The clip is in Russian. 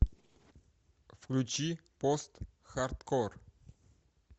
включи постхардкор